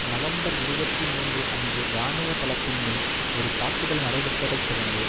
November இருபத்தி மூன்று அன்று இராணுவ தளத்தின் மேல் ஒரு தாக்குதல் நடைபெற்றதைத் தொடர்ந்து